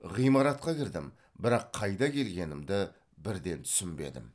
ғимаратқа кірдім бірақ қайда келгенімді бірден түсінбедім